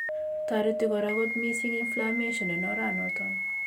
Toreti kora kot missing Inflammation en oranoton.